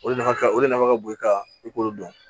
O de nafa ka o de nafa ka bon i kan i k'olu dɔn